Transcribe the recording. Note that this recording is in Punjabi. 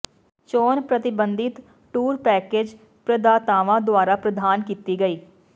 ਚੋਣ ਪ੍ਰਤਿਬੰਧਿਤ ਟੂਰ ਪੈਕੇਜ ਪ੍ਰਦਾਤਾਵਾਂ ਦੁਆਰਾ ਪ੍ਰਦਾਨ ਕੀਤੀ ਗਈ